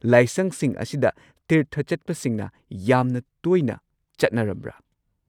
ꯂꯥꯏꯁꯪꯁꯤꯡ ꯑꯁꯤꯗ ꯇꯤꯔꯊ ꯆꯠꯄꯁꯤꯡꯅ ꯌꯥꯝꯅ ꯇꯣꯏꯅ ꯆꯠꯅꯔꯝꯕ꯭ꯔꯥ?